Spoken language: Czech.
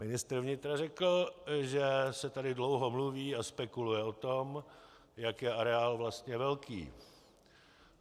Ministr vnitra řekl, že se tady dlouho mluví a spekuluje o tom, jak je areál vlastně velký.